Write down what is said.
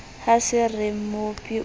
ha se re mmopi o